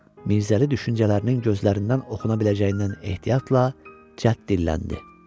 Mirzəli düşüncələrinin gözlərindən oxuna biləcəyindən ehtiyatla cədd dilləndi.